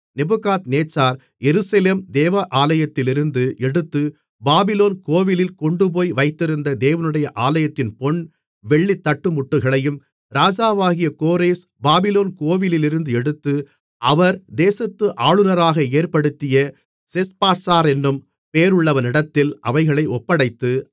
Nebuchadnezzar Jerusalem தேவாலயத்திலிருந்து எடுத்து Babylon கோவிலில் கொண்டுபோய் வைத்திருந்த தேவனுடைய ஆலயத்தின் பொன் வெள்ளித் தட்டுமுட்டுகளையும் ராஜாவாகிய கோரேஸ் பாபிலோன் கோவிலிலிருந்து எடுத்து அவர் தேசத்து ஆளுனராக ஏற்படுத்திய செஸ்பாத்சாரென்னும் பெயருள்ளவனிடத்தில் அவைகளை ஒப்படைத்து